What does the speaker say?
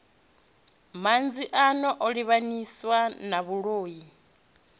manzhi ano livhanyiswa na vhuloi